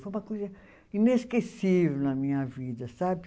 Foi uma coisa inesquecível na minha vida, sabe?